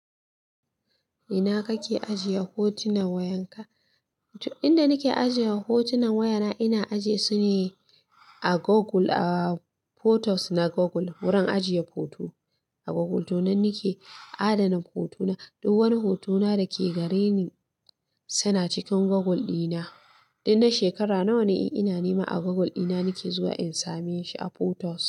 Ina kake ajiye hotunan wayanka? Inda nake ajiye hotunan wayana ina ajiye su ne a Google, a photos na Google. Wurin ajiye hoto a Google to nan nake adana hotuna. Duk wani hotona dake gareni suna cikin Google dina. Tun na shekara nawa ina nema a Google ina nake zuwa in same shi a photos.